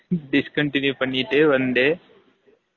discontinue பன்னிட்டு வந்து